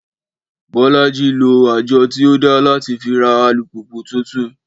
Bọ́lájí lo àjọ tí ó dá láti fi ra alùpùpù tuntun